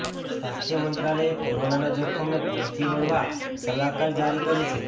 સ્વાસ્થ્ય મંત્રાલયે કોરોનાના જોખમને પહોંચી વળવા સલાહકાર જારી કરી છે